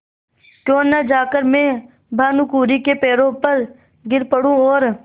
क्यों न जाकर मैं भानुकुँवरि के पैरों पर गिर पड़ूँ और